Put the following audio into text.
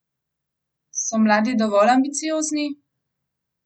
So mladi dovolj ambiciozni?